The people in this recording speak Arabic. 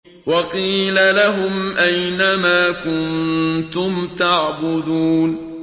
وَقِيلَ لَهُمْ أَيْنَ مَا كُنتُمْ تَعْبُدُونَ